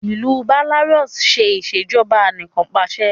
ilú Belarus ṣe Ìṣèjọba Anìkanpàṣẹ